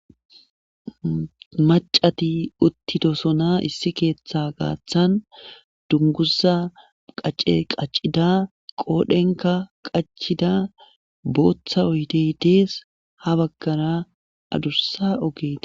Macati uttidosona issi keeththa gaaththan dunguza qace qaccida qoodhenka qacida booththa oyteydees ha baggara adussa ogete.